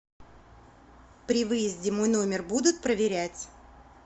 при выезде мой номер будут проверять